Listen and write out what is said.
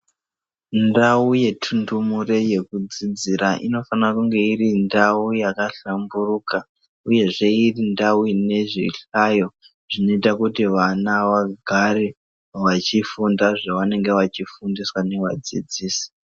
Ndau yetundumure yekudzidzira inofanira kunge iri ndau yakahlamburuka uyehe irindau inezvihlayo zvinoita kuti vana vagare vachifunda zvevanenge vachifundiswa ngavadzidzisi.